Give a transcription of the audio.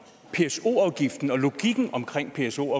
pso afgiften og logikken omkring pso